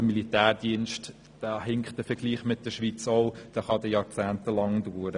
Was den Militärdienst anbelangt, hinkt der Vergleich mit der Schweiz, denn dieser kann jahrzehntelang dauern.